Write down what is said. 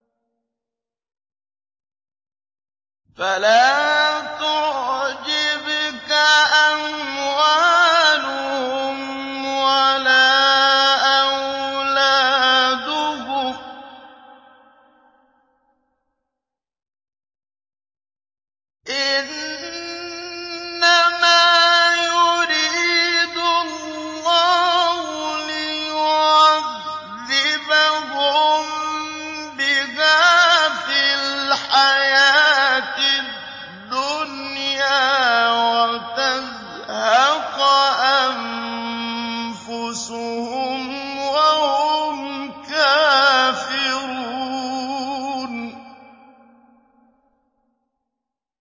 فَلَا تُعْجِبْكَ أَمْوَالُهُمْ وَلَا أَوْلَادُهُمْ ۚ إِنَّمَا يُرِيدُ اللَّهُ لِيُعَذِّبَهُم بِهَا فِي الْحَيَاةِ الدُّنْيَا وَتَزْهَقَ أَنفُسُهُمْ وَهُمْ كَافِرُونَ